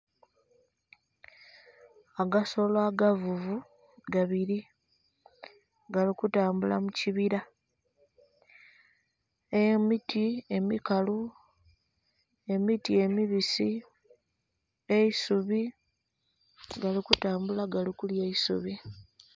Agasolo agavuvu gabili, gali kutambula mu kibila. Emiti emikalu, emiti emibisi, eisubi, gali kutambula gali kulya eisubi.